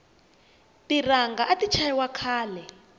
tiranga ati chayi wa khale